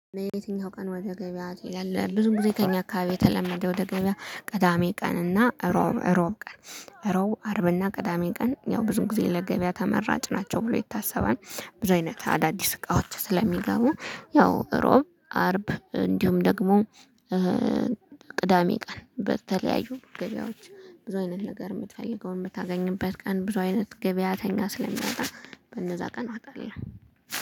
በየትኛው? ቀን ወደ ገበያ ትሄዳለህ ብዙ ጊዜ ከእኛ አካባቢ የተለመደ ወደ ገበያ ቅዳሜ ቀን እና እሮብ እሮብ ቀን ረቡዕ አርብና ቅዳሜ ቀን ያው ብዙ ጊዜ ለገበያ ተመራጭ ናቸው ብሎ ይታሰባል። ብዙ አይነት አዳዲስ እቃዎች ስለሚገቡ ያው እሮብ አርብ እንዲሁም ደግሞ ቅዳሜ ቀን በተለያዩ ገበያዎች ብዙ አይነት ነገር የምትፈልገውን የምታገኝበት ቀን ብዙ አይነት ገበያተኛ ስለሚወጣ። በእነዛ ቀን እዋጣለሁ